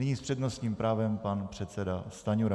Nyní s přednostním právem pan předseda Stanjura.